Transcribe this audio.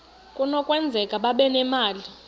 kunokwenzeka babe nemali